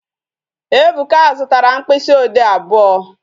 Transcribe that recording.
Ebuka zụtara mkpịsị ode abụọ